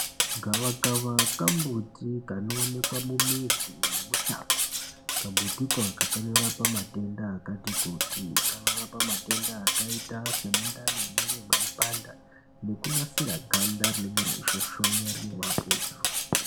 Gavakava kambuti kanoonekwe mumuzi nemushango kambutiko akako kanorapa matenda akati kuti kanorapa matenda akaita semundani nemwiri weipanda nekunasira ganda rinenge reisvosvona rine mapundu.